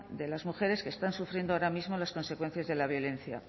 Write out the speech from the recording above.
de las mujeres que están sufriendo ahora mismo las consecuencias de la violencia